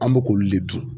An bɛ k'olu de dun